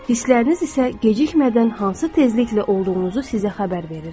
Hissləriniz isə gecikmədən hansı tezlikdə olduğunuzu sizə xəbər verir.